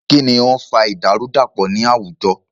Kínní o ń fa ìdàrúdàpọ̀ ní àwùjọ?